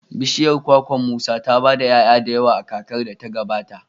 bishiyar kwakwar Musa ta ba da 'ya'ya da yawa a kakar da ta gabata.